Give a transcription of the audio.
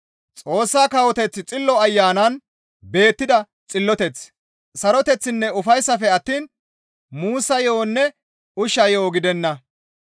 Xoossa kawoteththi Xillo Ayanan beettida xilloteth, saroteththinne ufayssafe attiin muussa yo7onne ushsha yo7o gidenna.